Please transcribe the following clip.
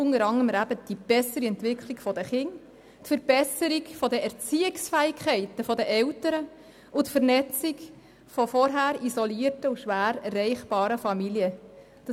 Dabei ist vor allem die bessere Entwicklung der Kinder, die Verbesserung der Erziehungsfähigkeit der Eltern und die Vernetzung von vorher isolierten und schwer erreichbaren Familien zu erwähnen.